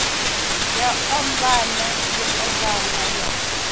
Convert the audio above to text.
ya ombana yo ombana ya